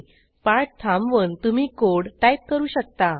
पाठ थांबवून तुम्ही कोड टाईप करू शकता